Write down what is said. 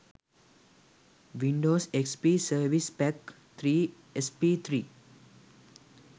windows xp service pack 3 sp3